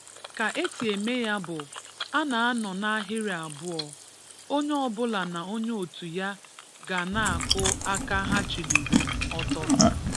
Kà èsì emè yà bụ̀: à na-anọ̀ n’ahìrì abụọ̀, ònyè ọbụ̀là nà ònyè òtù yà gà na-akù̀ aka hà chílìlì ọ̀tọ̀.